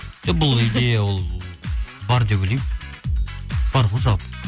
жоқ бұл идея ол бар деп ойлаймын бар ғой жалпы